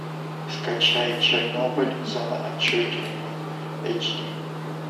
скачай чернобыль зона отчуждения эйч ди